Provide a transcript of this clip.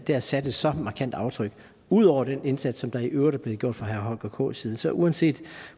har sat et så markant aftryk ud over den indsats som der i øvrigt er blevet gjort fra herre holger k nielsens side så uanset